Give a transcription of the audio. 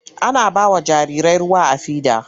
Ana ba wa jarirai ruwa a fida.